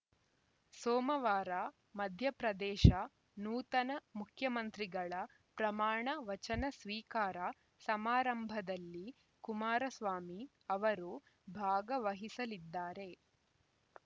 ಸೋಮವಾರ ಮಧ್ಯಪ್ರದೇಶ ನೂತನ ಮುಖ್ಯಮಂತ್ರಿಗಳ ಪ್ರಮಾಣ ವಚನ ಸ್ವೀಕಾರ ಸಮಾರಂಭದಲ್ಲಿ ಕುಮಾರಸ್ವಾಮಿ ಅವರು ಭಾಗವಹಿಸಲಿದ್ದಾರೆ